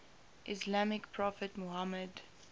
islamic prophet muhammad